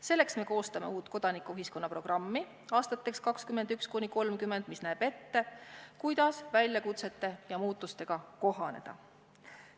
Selleks koostame me aastateks 2021–2030 uut kodanikuühiskonna programmi, mis näeb ette, kuidas väljakutsete ja muutustega kohaneda.